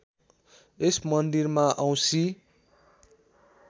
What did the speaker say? यस मन्दिरमा औँशी